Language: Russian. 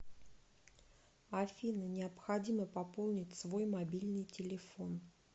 афина необходимо пополнить свой мобильный телефон